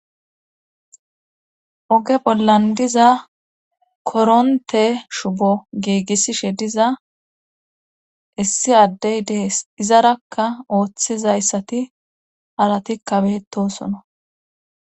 oge bollan diza koronte shubo giigissishe diza issi addey deees izarakka ooththizayssati arati kabetosona